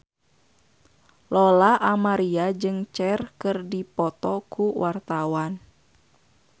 Lola Amaria jeung Cher keur dipoto ku wartawan